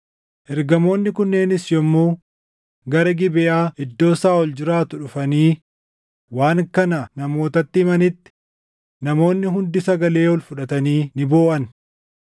Ergamoonni kunneenis yommuu gara Gibeʼaa iddoo Saaʼol jiraatu dhufanii waan kana namootatti himanitti, namoonni hundi sagalee ol fudhatanii ni booʼan.